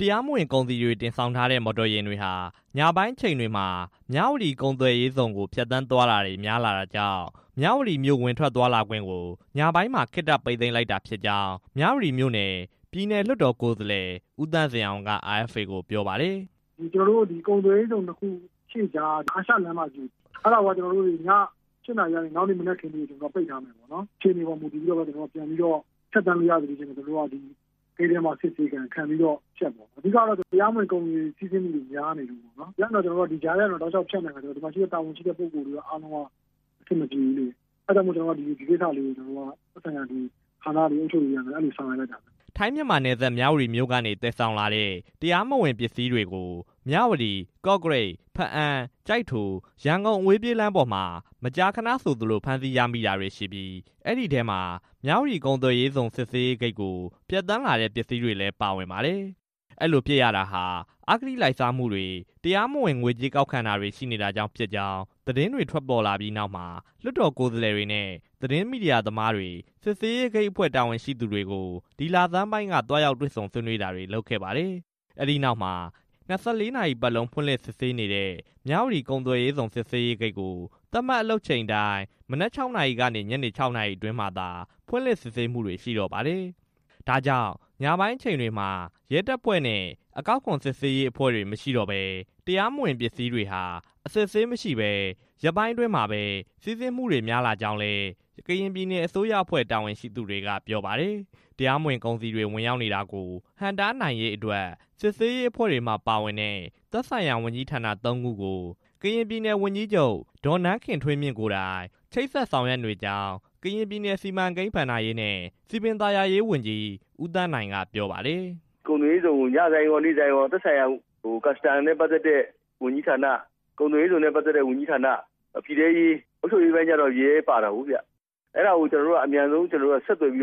တရားမဝင်ကုန်စည်တွေ တင်ဆောင်ထားတဲ့ မော်တော်ယာဉ်တွေဟာ ညပိုင်းအချိန်တွေမှာ မြဝတီကုန်သွယ်ရေးဇုန် ကို ဖြတ်သန်းသွားလာတာတွေ များလာတာကြောင့် မြဝတီမြို့ ဝင်ထွက်သွားလာခွင့်ကို ညပိုင်းမှာ ခေတ္တပိတ်သိမ်း လိုက်တာဖြစ်ကြောင်း မြဝတီမြို့နယ် ပြည်နယ်လွှတ်တော်ကိုယ်စားလှယ် ဦးသန့်ဇင်အောင် က RFA ကို ပြောပါတယ်။ "ကျနော်တို့ ကုန်သွယ်ရေးဇုန် အရှေ့က အာရှလမ်းမကြီးကို ည ၈ နာရီကနေ မနက် ၆ နာရီအထိကို ပိတ်ထားမယ်ပေါ့နော်၊ အခြေအနေပေါ်မူတည်ပြီးတော့မှ ဖြတ်သန်းလို့ရမယ့်အချိန်မှ ဂိတ်ထဲမှာ အစစ်ဆေးခံ၊ ပြီးမှဖြတ်ပေါ့နော်၊ အဓိကကတော့ တရားမဝင် ကုန်စည်တွေ ဖြတ်သန်းသွားလာမှုတွေများနေလို့ပါ၊ အဲဒါကြောင့် မို့ အုပ်ချုပ်ရေးကနေ အခုလို ဆောင်ရွက်တာပါ" ထိုင်း-မြန်မာနယ်စပ် မြဝတီမြို့က သယ်ဆောင်လာတဲ့ တရားမဝင်ကုန်စည်တွေကို မြဝတီ-ကော့ကရိတ်-ဘားအံ-ကျိုက်ထို-ရန်ကုန်လမ်းပေါ်မှာ မကြာခဏ ဖမ်းဆီးရမိတာတွေရှိပြီး အဲဒီထဲမှာ မြဝတီကုန်သွယ်ရေးဇုန် စစ်ဆေးရေး ဂိတ်ကို ဖြတ်သန်းလာတဲ့ပစ္စည်းတွေလည်း ပါဝင်ပါတယ်။ အဲလိုဖြစ်ရတာဟာ အဂတိလိုက်စားမှုတွေ တရားမဝင် ငွေကြေးကောက်ခံတာတွေ ရှိနေတာကြောင့်ဖြစ်ကြောင်း သတင်းတွေ ထွက်ပေါ်လာပြီးနောက်မှာ လွှတ်တော်ကိုယ်စားလှယ်တွေနဲ့ သတင်းမီဒီယာသမားတွေ စစ်ဆေးရေး ဂိတ်အဖွဲ့ တာဝန်ရှိသူတွေကို ဒီလဆန်းပိုင်းက သွားရောက်တွေ့ဆုံဆွေးနွေးတာတွေ လုပ်ခဲ့ပါတယ်။ အဲဒီနောက်မှာ ယခင်က နားလည်မှုနဲ့ ၂၄ နာရီပတ်လုံး ဖွင့်လှစ်စစ်ဆေးနေတဲ့ မြဝတီ ကုန်သွယ်ရေးဇုန် စစ်ဆေးရေး ဂိတ်ကို သတ်မှတ်အလုပ်တာဝန်ချိန်အတိုင်း မနက် ၆ နာရီကနေ ညနေ ၆ နာရီအတွင်းမှာသာ ဖွင့်လှစ်စစ်ဆေးမှု ရှိတော့ပါတယ်။ ဒါ့ကြောင့် ညပိုင်းအချိန်တွေမှာ ရဲတပ်ဖွဲ့နဲ့ အကောက်အခွန်စစ်ဆေးရေးအဖွဲ့တွေ မရှိတော့ပဲ တရားမဝင် ကုန်ပစ္စည်းတွေဟာ အစစ်အဆေးမရှိဘဲ ရက်ပိုင်းအတွင်း စီးဆင်းမှုတွေ များလာကြောင်းလည်း ကရင်ပြည်နယ် အစိုးရအဖွဲ့ တာဝန်ရှိသူတွေက ပြောပါတယ်။ တရားမဝင်ကုန်စည်တွေ ဝင်ရောက်နေတာကို ဟန့်တားနိုင်ရေးအတွက် စစ်ဆေးရေးအဖွဲ့မှာပါဝင်တဲ့ သက်ဆိုင်ရာ ဝန်ကြီးဌာန ၃ ခုကို ကရင်ပြည်နယ် ဝန်ကြီးချုပ် ဒေါ်နန်းခင်ထွေးမြင့် ကိုယ်တိုင် ချိတ်ဆက်ဆောင်ရွက်နေကြောင်း ကရင်ပြည်နယ် စီမံကိန်း၊ ဘဏ္ဍာရေးနှင့် စည်ပင်သာယာရေးဝန်ကြီး ဦးသန်းနိုင်က RFA ကိုပြောပါတယ်။ "ကုန်သွယ်ရေးဇုန်ကို နေ့ဆိုင်းရော၊ ညဆိုင်းရော၊ သက်ဆိုင်ရာ အကောက်ခွန်နဲ့ ပတ်သက်တဲ့ဝန်ထမ်းတွေ၊ ကုန်သွယ်ရေးဇုန်နဲ့ ပတ်သက်တဲ့ ဝန်ထမ်းတွေ၊ အုပ်ချုပ်ရေးပိုင်းကျတော့ ရဲတပ်ဖွဲ့ဝင်တွေလည်း လိုအပ် တာကြောင့် ဒီအဖွဲ့တွေကို အမြန်ဆုံးဆက်သွယ်ပြီး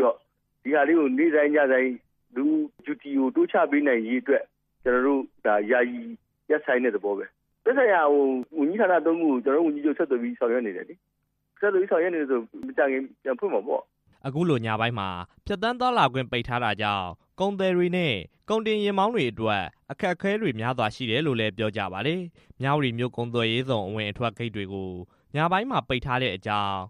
နေ့ဆိုင်း၊ ညဆိုင်း တာဝန်တိုးချထားနိုင်ရေးအတွက် ခေတ္တရပ်ဆိုင်းတဲ့သဘောပါ၊ သက်ဆိုင်ရာဝန်ကြီးဌာန ၃ ခု ကို ကျနော်တို့ ဝန်ကြီးချုပ်ကိုယ်တိုင် တိုက်ရိုက် ချိတ်ဆက်ဆောင်ရွက်နေတယ်လေ၊ အဲတော့ မကြာခင် ပြန်ဖွင့်နိုင်မှာပေါ့" အခုလို ညပိုင်းအချိန်မှာ ဖြတ်သန်းသွားလာခွင့် ပိတ်ထားတာကြောင့် ကုန်သည်တွေနဲ့ ကုန်တင်ယာဉ်မောင်းတွေ အတွက် အခက်အခဲတွေ များစွာရှိတယ်လို့ ပြောကြပါတယ်။ မြဝတီမြို့ ကုန်သွယ်ရေးဇုန်အဝင်အထွက် ဂိတ်ကို ညပိုင်းမှာ ပိတ်ထားတဲ့ အကြောင်းကို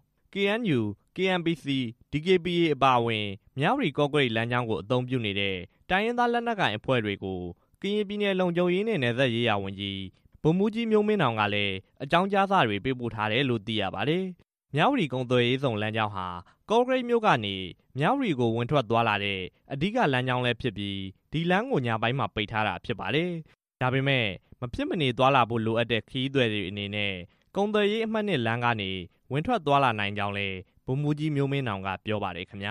KNU၊ KNPC၊ DKBA အပါအဝင် မြဝတီ- ကော့ကရိတ်လမ်းကြောင်းကို အသုံးပြုနေတဲ့ တိုင်းရင်းသား လက်နက်ကိုင်အဖွဲ့တွေကို ကရင်ပြည်နယ် လုံခြုံရေးနဲ့ နယ်စပ်ရေးရာဝန်ကြီး ဗိုလ်မှူးကြီး မျိုးမင်းနောင်ကလည်း အကြောင်းကြားစာ ပေးပို့ထားတယ်လို့လည်း သိရပါတယ်။ မြဝတီကုန်သွယ်ရေးဇုန်လမ်းကြောင်းဟာ ကော့ကရိတ်မြို့ကနေ မြဝတီမြို့ကို ဝင်ထွက်သွားလာတဲ့ အဓိကလမ်းကြောင်းဖြစ်ပြီး ဒီလမ်းကို ညပိုင်းမှာ ပိတ်ထားတာဖြစ်ပါတယ်။ ဒါပေမဲ့ မဖြစ်မနေသွားလာဖို့လိုအပ်တဲ့ ခရီးသည်တွေအနေနဲ့ ကုန်သွယ်ရေး အမှတ် လမ်းကနေတော့ ဝင်ထွက်သွားလာနိုင်ကြောင်းလည်း ဗိုလ်မှူးကြီး မျိုးမင်းနောင်က ပြောပါတယ်ခင်ဗျ